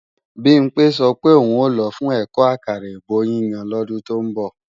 Bimpé sọ pé òun ò lọ fún ẹ̀kọ́ àkàrà èbó yíyan lọ́dún tó ń bọ̀